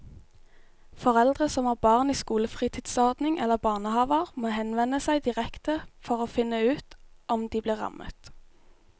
Foreldre som har barn i skolefritidsordning eller barnehaver må henvende seg direkte for å finne ut om de blir rammet.